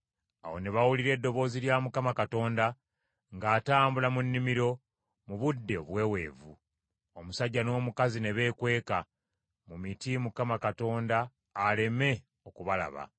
Awo ne bawulira eddoboozi lya Mukama Katonda ng’atambula mu nnimiro, mu budde obuweeweevu. Omusajja n’omukazi ne beekweka mu miti Mukama Katonda aleme okubalaba.